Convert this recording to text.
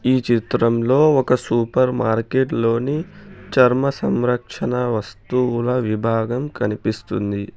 ఈ చిత్రంలో ఒక సూపర్ మార్కెట్ లోని చర్మ సంరక్షణ వస్తువుల విభాగం కనిపిస్తుంది.